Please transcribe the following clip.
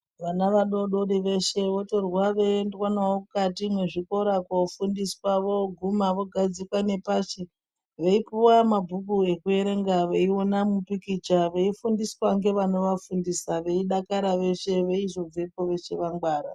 Vana vadodori veshe votorwa veiendwa navo mukati mwezvikora kofundiswa voguma vogadzikwa nepashi, veipuwa mabhuku ekuerenga, veiona mupikicha veifundiswa ngevanovafundisa veidakara veshe veizobvepo veshe vangwara.